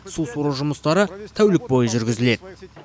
су сору жұмыстары тәулік бойы жүргізіледі